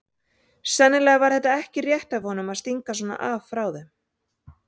Sennilega var þetta ekki rétt af honum að stinga svona af frá þeim.